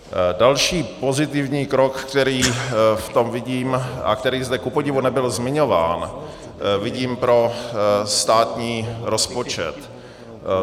Další pozitivní krok, který v tom vidím a který zde kupodivu nebyl zmiňován, vidím pro státní rozpočet.